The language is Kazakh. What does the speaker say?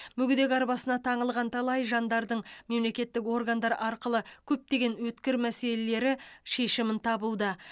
мүгедек арбасына таңылған талай жандардың мемлекеттік органдар арқылы көптеген өткір мәселелері шешімін табуда